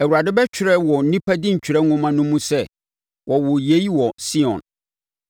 Awurade bɛtwerɛ wɔ nnipa dintwerɛ nwoma no mu sɛ, “Wɔwoo yei wɔ Sion.”